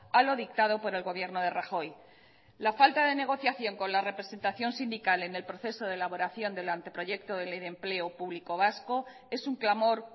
a lo dictado por el gobierno de rajoy la falta de negociación con la representación sindical en el proceso de elaboración del anteproyecto de ley de empleo público vasco es un clamor